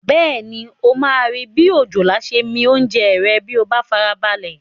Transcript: Bẹ́ẹ̀ni, o máa rí bi òjòlá ṣe ń mi oúnjẹ rẹ̀ bí o bá farabalẹ̀